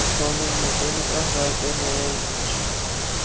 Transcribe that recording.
Ég var bara kominn með sinadrátt, sagði Gunni aumur.